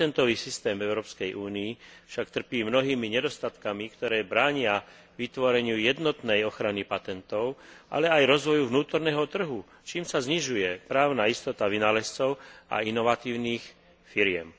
Patentový systém Európskej únie však trpí mnohými nedostatkami, ktoré bránia vytvoreniu jednotnej ochrany patentov, ale aj rozvoju vnútorného trhu, čím sa znižuje právna istota vynálezcov a inovatívnych firiem.